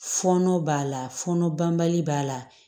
Fɔɔnɔ b'a la fɔnɔ banbali b'a la